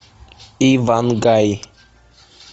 ивангай